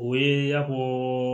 O ye y'a fɔ